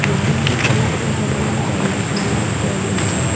Building টোৰ তলত কেইখনমান গাড়ী দেখিবলৈ পোৱা গৈছে।